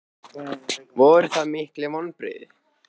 Voru það mikil vonbrigði?